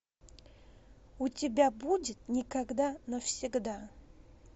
у тебя будет никогда навсегда